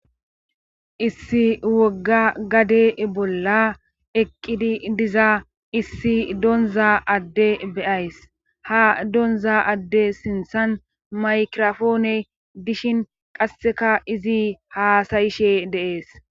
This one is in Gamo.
Issi wogga gade bolla eqqidi diza issi donza adde beyays ha donza adde sinthan maykrofoone dishin qasseka izi haasayishe de7ees.